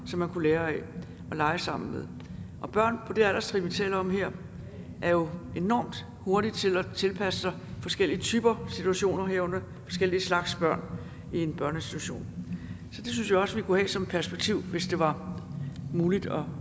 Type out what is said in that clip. som man kunne lære af og lege sammen med børn på det alderstrin vi taler om her er jo enormt hurtige til at tilpasse sig forskellige typer situationer og herunder forskellige slags børn i en børneinstitution så det synes jeg også vi kunne have som et perspektiv hvis det var muligt at